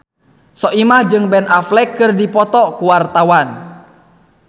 Soimah jeung Ben Affleck keur dipoto ku wartawan